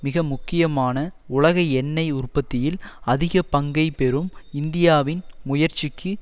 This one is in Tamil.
மிக முக்கியமான உலக எண்ணெய் உற்பத்தியில் அதிக பங்கை பெறும் இந்தியாவின் முயற்சிக்கு